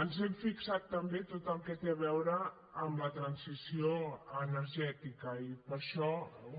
ens hem fixat també tot el que té a veure amb la transició energètica i per això